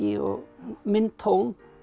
og minn tón